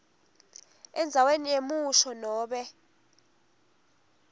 endzaweni yemusho nobe